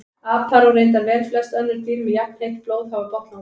Apar og reyndar velflest önnur dýr með jafnheitt blóð hafa botnlanga.